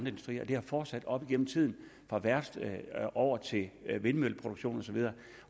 industrier og det har fortsat op igennem tiden fra værfter og over til vindmølleproduktion og så videre